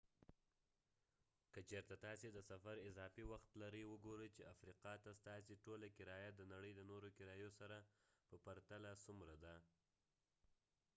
که چیرته تاسې د سفر اضافې وخت لرئ وګورئ چې افریقا ته ستاسې ټوله کرایه د نړۍ د نورو کرایو سره په پرتله څومره ده